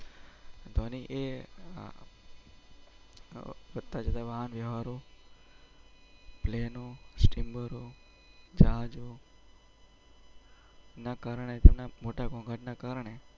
ધોનીએ. કટ્ટ થવાની હારું પ્લેનું સ્ટીમ જહાજો. ના કારણે તેમના મોટાભાગના કારણે.